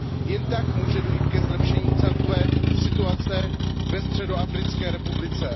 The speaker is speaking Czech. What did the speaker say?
Jen tak může dojít ke zlepšení celkové situace ve Středoafrické republice.